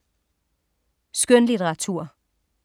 Skønlitteratur